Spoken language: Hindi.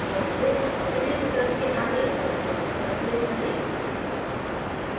positive और negative विकल्प के आगे color tabs पर click करें